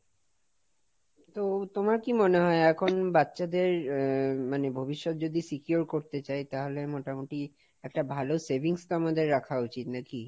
তো তোমার কি মনে হয় এখন বাচ্চাদের মানে ভবিষ্যৎ যদি secure করতে চাই তাহলে মোটামুটি একটা ভালো savings তো আমাদের রাখা উচিত নাকি?